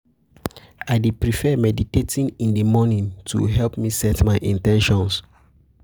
I dey prefer meditating in the morning to help me set my in ten tions.